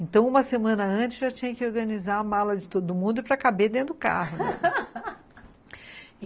Então, uma semana antes, já tinha que organizar a mala de todo mundo para caber dentro do carro.